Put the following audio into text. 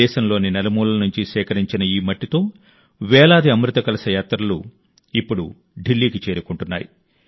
దేశంలోని నలుమూలల నుంచి సేకరించిన ఈ మట్టితో వేలాది అమృత కలశ యాత్రలు ఇప్పుడు ఢిల్లీకి చేరుకుంటున్నాయి